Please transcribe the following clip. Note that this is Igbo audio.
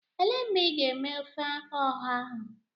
Elee mgbe ị ga-eme ofe ọha ahụ?